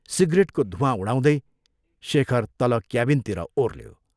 सिग्रेटको धूवाँ उडाउँदै शेखर तल क्याबिनतिर ओर्ल्यों।